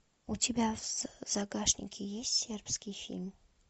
у тебя в загашнике есть сербский фильм